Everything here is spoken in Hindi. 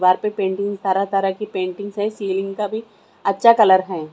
वार पे तरह तरह की से सीलिंग का भी अच्छा कलर है।